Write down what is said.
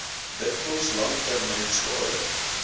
dikwels langtermyn skade